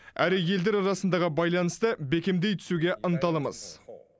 әрі елдер арасындағы байланысты бекемдей түсуге ынталымыз